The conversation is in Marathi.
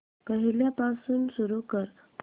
पहिल्यापासून सुरू कर